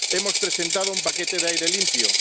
Hemos presentado un paquete de aire limpio.